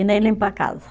E nem limpo a casa.